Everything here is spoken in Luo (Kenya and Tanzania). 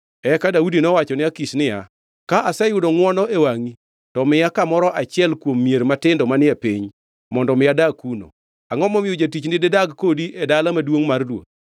Eka Daudi nowachone Akish niya, “Ka aseyudo ngʼwono e wangʼi, to miya kamoro e achiel kuom mier matindo manie piny, mondo mi adag kuno. Angʼo momiyo jatichni didag kodi e dala maduongʼ mar ruoth?”